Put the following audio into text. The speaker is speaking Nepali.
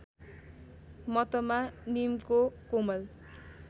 मतमा नीमको कोमल